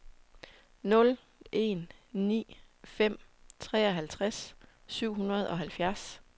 nul en ni fem treoghalvtreds syv hundrede og halvfjerds